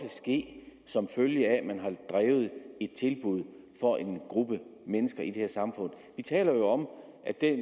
ske som følge af at man har drevet et tilbud for en gruppe mennesker i det her samfund vi taler jo om at der